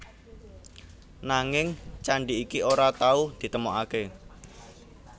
Nanging candhi iki ora tau ditemokaké